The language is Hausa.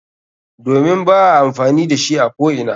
Domin ba a amfani da shi a ko'ina.